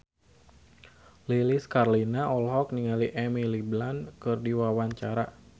Lilis Karlina olohok ningali Emily Blunt keur diwawancara